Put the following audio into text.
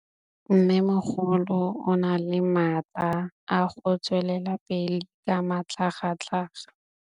Mmêmogolo o na le matla a go tswelela pele ka matlhagatlhaga.